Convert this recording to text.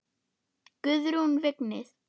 Guðrún Vignis.